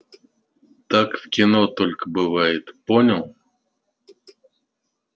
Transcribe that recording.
так в кино только бывает понял